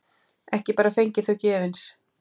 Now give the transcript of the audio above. Ekki bara fengið þau gefins.